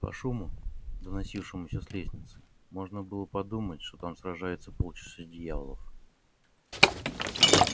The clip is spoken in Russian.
по шуму доносившемуся с лестницы можно было подумать что там сражаются полчища дьяволов